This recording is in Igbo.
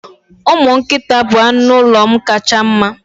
Umu nkita bụ anụ ụlọ m kacha mma.